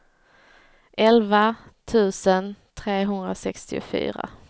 elva tusen trehundrasextiofyra